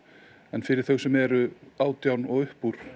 fyrir þau sem eru átján og upp úr